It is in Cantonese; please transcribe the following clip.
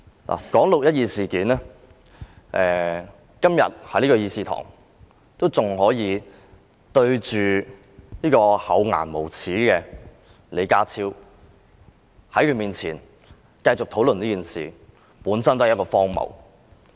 要談論"六一二"事件，還要在這議事堂面對這位厚顏無耻的李家超，在他面前進行討論，本身已經很荒謬。